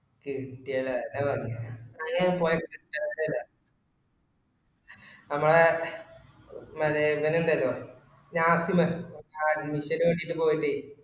കിട്ടിയട അതാ പറഞ്ഞെ ങ്ങനെയൊന്നുംപോയാല്ന കിട്ടില്ല മ്മളെ ഇവനീണ്ടല്ലോ നാഫില് ഓ കിട്ടീട്ട് പോയത്